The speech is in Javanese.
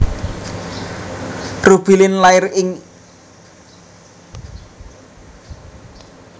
Ruby Lin lair ing